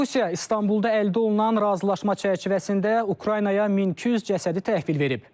Rusiya İstanbulda əldə olunan razılaşma çərçivəsində Ukraynaya 1200 cəsədi təhvil verib.